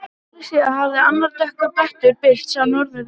Ári síðar hafði annar dökkur blettur birst á norðurhvelinu.